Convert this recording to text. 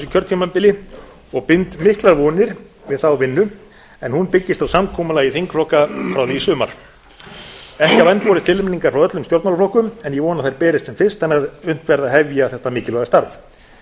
kjörtímabili ég bind miklar vonir við þá vinnu en hún byggist á samkomulagi þingflokka frá því í sumar ekki hafa enn borist tilnefningar frá öllum stjórnmálaflokkum en ég vona að þær berist sem fyrst þannig að unnt verði að hefja þetta mikilvæga starf